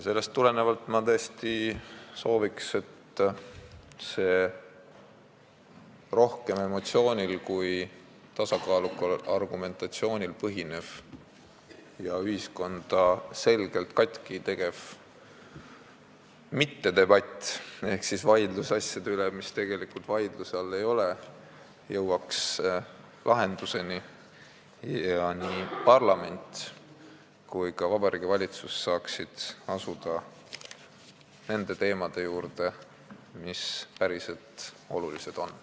" Sellest tulenevalt ma tõesti sooviks, et see rohkem emotsioonil kui tasakaalukal argumentatsioonil põhinev ja ühiskonda selgelt katki tegev mittedebatt ehk vaidlus asjade üle, mis tegelikult vaidluse all ei ole, jõuaks lahenduseni ja nii parlament kui ka Vabariigi Valitsus saaksid asuda tegelema nende teemadega, mis päriselt olulised on.